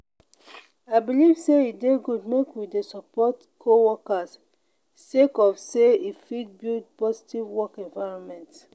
i believe sey e dey good make we dey support co-workers sake of sey e fit build positive work environment.